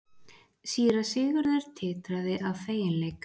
Síra Sigurður titraði af feginleik.